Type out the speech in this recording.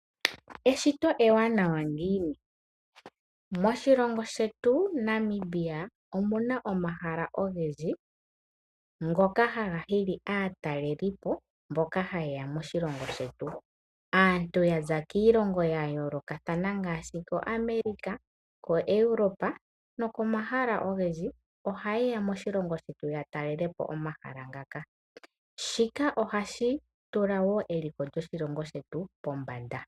Eshito ewanawa ngiini? Moshilongo shetu shaNamibia omuna omahala ngoka haga hili aatalelipo mboka ha yeya moshilongo shetu. Aantu yaza kiilongo yomwe ngaashi America oha yeya okutalelapo omahala nga shika ohashi tula wo eliko lyoshilongo shetu pombanda.